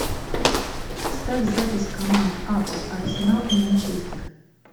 ставь запись команд апл арсенал и манчестер